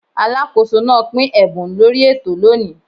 Alákóso náà pín ẹ̀bùn lórí ètò lóni.